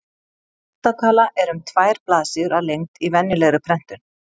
Odda tala er um tvær blaðsíður að lengd í venjulegri prentun.